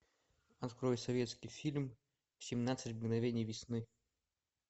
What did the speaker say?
открой советский фильм семнадцать мгновений весны